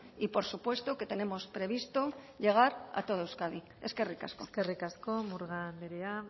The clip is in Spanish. y por supuesto que tenemos previsto llegar a toda euskadi eskerrik asko eskerrik asko murga andrea